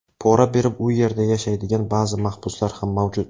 Pora berib u yerda yashaydigan ba’zi mahbuslar ham mavjud.